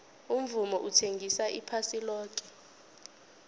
umvumo uthengisa iphasi loke